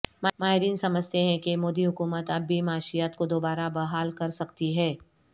ماہرین سمجھتے ہیں کہ مودی حکومت اب بھی معیشت کو دوبارہ بحال کر سکتی ہے